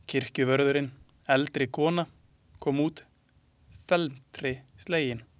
Kirkjuvörðurinn, eldri kona, kom út felmtri slegin.